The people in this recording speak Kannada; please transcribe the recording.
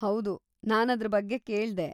ಹೌದು, ನಾನು ಅದ್ರ ಬಗ್ಗೆ ಕೇಳ್ದೆ.